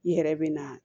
I yɛrɛ bɛ na